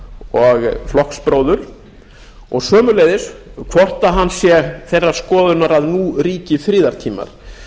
og flokksbróður og sömuleiðis hvort hann sé þeirrar skoðunar að nú ríki friðartímar